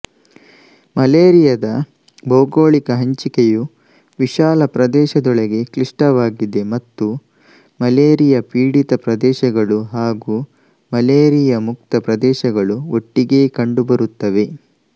ಮಲೇರಿಯಾದ ಭೌಗೋಳಿಕ ಹಂಚಿಕೆಯು ವಿಶಾಲ ಪ್ರದೇಶದೊಳಗೆ ಕ್ಲಿಷ್ಟವಾಗಿದೆ ಮತ್ತು ಮಲೇರಿಯಾಪೀಡಿತ ಪ್ರದೇಶಗಳು ಹಾಗೂ ಮಲೇರಿಯಾಮುಕ್ತ ಪ್ರದೇಶಗಳು ಒಟ್ಟಿಗೇ ಕಂಡುಬರುತ್ತವೆ